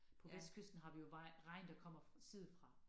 På vestkysten har vi jo vej regn der kommer side fra